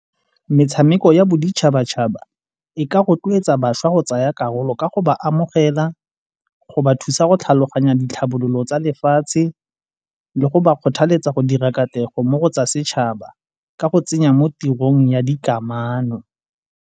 Metshameko ya boditšhabatšhaba e ka rotloetsa bašwa go tsaya karolo ka go ba amogela, go ba thusa go tlhaloganya ditlhabololo tsa lefatshe le go ba kgothaletsa go dira katlego mo go tsa setšhaba ka go tsenya mo tirong ya dikamano.